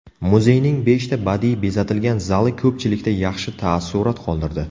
Muzeyning beshta badiiy bezatilgan zali ko‘pchilikda yaxshi taassurot qoldirdi.